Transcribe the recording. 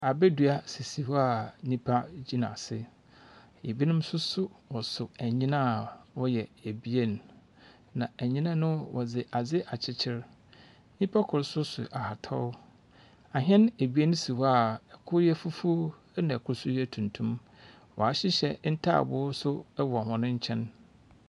Abɛdua sisi hɔ a nnipa gyina ase. Ebinom nso so wɔso ɛnnyina a wɔyɛ abien. Na ɛnnyina no wɔde ade akyikyiri. Nipa koro nso so ahataw. Ahen abien si hɔ a ɛkoro yɛ fufu ɛna ɛkoro nso yɛ tuntum. Wahyehyɛ ntaaboo nso wɔ wɔn nkyɛn.